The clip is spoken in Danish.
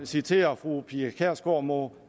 citerer fru pia kjærsgaard må